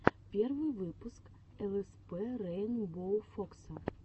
первый выпуск лспрейнбоуфокса